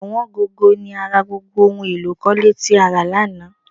Ọ̀wọ́n gógó ni a ra gbogbo ohun èlò ikọ̀le tí a rà lánàá